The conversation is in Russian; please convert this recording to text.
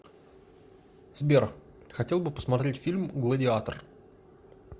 сбер хотел бы посмотреть фильм гладиатор